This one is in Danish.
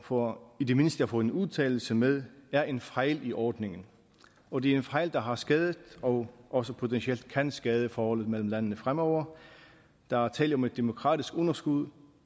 for i det mindste at få en udtalelse med er en fejl i ordningen og det er en fejl der har skadet og også potentielt kan skade forholdet mellem landene fremover der er tale om et demokratisk underskud